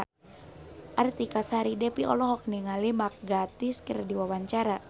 Artika Sari Devi olohok ningali Mark Gatiss keur diwawancara